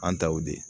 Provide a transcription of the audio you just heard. An ta y'o de ye